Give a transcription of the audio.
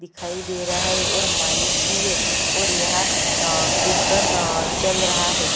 दिखाई दे रहा है और माइक भी है और यहाँ कीर्तन चल रहा है।